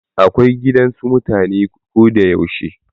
Gidan su da mutane ko da yaushe.